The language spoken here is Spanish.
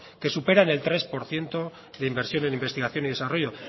que superan el tres por ciento de inversión en investigación y desarrollo